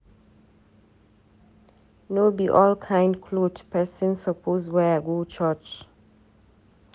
No be all kind cloth pesin suppose wear go church.